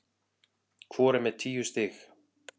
Hvor er með tíu stig